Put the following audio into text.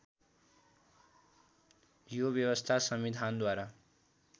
यो व्यवस्था संविधानद्वारा